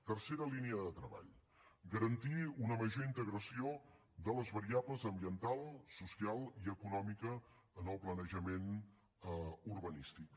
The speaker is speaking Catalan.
tercera línia de treball garantir una major integració de les variables ambiental social i econòmica en el planejament urbanístic